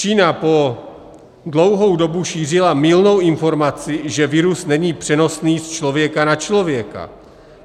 Čína po dlouhou dobu šířila mylnou informaci, že virus není přenosný z člověka na člověka.